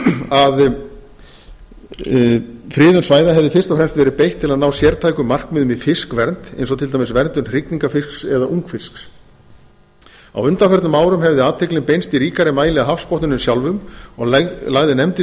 að friðun svæða hefði fyrst og fremst verið beitt til að ná sértækum markmiðum í fiskvernd eins og til dæmis verndun hrygningarfisks eða ungfisks á undanförnum árum hefði athyglin beinst í ríkari mæli að hafsbotninum sjálfum og lagði nefndin